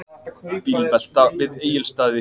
Bílvelta við Egilsstaði